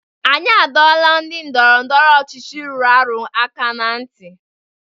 Anyị adọọla ndị ndọrọ ndọrọ ọchịchị rụrụ arụ aka aka na ntị!